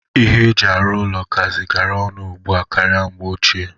Ihe e ji arụ ụnọ kazi garaa ọnụ ugbu a karịa mgbe ochie.